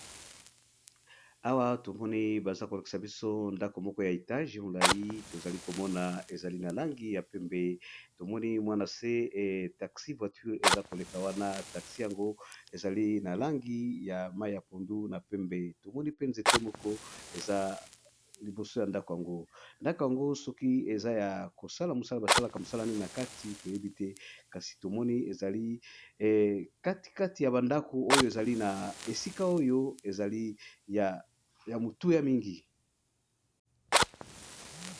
Awa tomoni bazokolakisa biso ndaku Moko ya étage mulayi tozalayi komona eza ya langi ya pembe nase nango eza taxi voiture